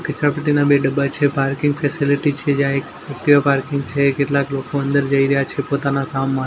કચરાપેટીના બે ડબ્બા છે પાર્કિંગ ફેસીલીટી છે જ્યાં એક એકટીવા પાર્કિંગ છે કેટલાક લોકો અંદર જઈ રહ્યા છે પોતાના કામમાં.